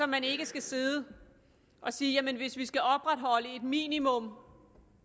man ikke sidde og sige jamen hvis vi skal opretholde et minimum